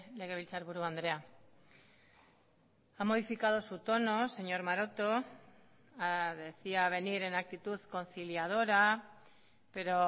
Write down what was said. legebiltzarburu andrea ha modificado su tono señor maroto decía venir en actitud conciliadora pero